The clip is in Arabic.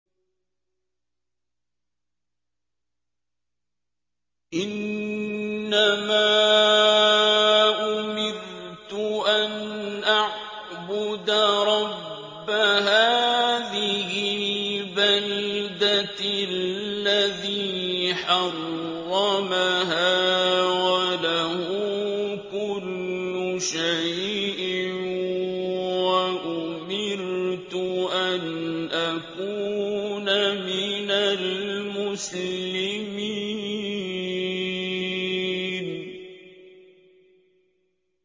إِنَّمَا أُمِرْتُ أَنْ أَعْبُدَ رَبَّ هَٰذِهِ الْبَلْدَةِ الَّذِي حَرَّمَهَا وَلَهُ كُلُّ شَيْءٍ ۖ وَأُمِرْتُ أَنْ أَكُونَ مِنَ الْمُسْلِمِينَ